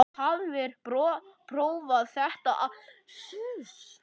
Þú hafðir prófað þetta allt.